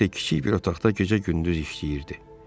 Özü isə kiçik bir otaqda gecə-gündüz işləyirdi.